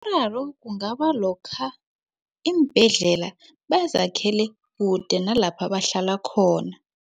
Umraro ungaba lokha iimbhedlela bazakhele kude nalapha bahlala khona.